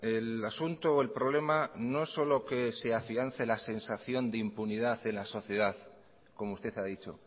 el asunto o el problema no solo que se afiance la sensación de impunidad en la sociedad como usted ha dicho